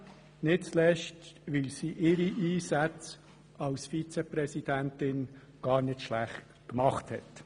Dies nicht zuletzt, weil sie ihre Einsätze als Vizepräsidentin gar nicht schlecht gemacht hat.